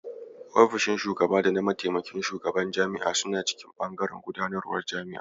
Ofishin shugaba da na mataimakin Shugaban Jami'a suna cikin bangaren gudanarwar jami'a.